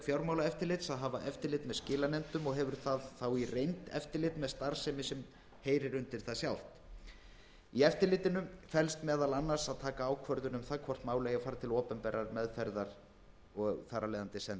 fjármálaeftirlitsins að hafa eftirlit með skilanefndum og hefur það þá í reynd eftirlit með starfsemi sem heyrir undir það sjálft í eftirlitinu felst meðal annars að taka ákvörðun um það hvort mál eiga að fara til opinberrar meðferðar og þar af leiðandi send